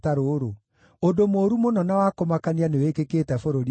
“Ũndũ mũũru mũno na wa kũmakania nĩwĩkĩkĩte bũrũri-inĩ ũyũ: